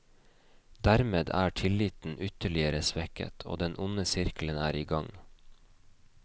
Dermed er tilliten ytterligere svekket, og den onde sirkelen er i gang.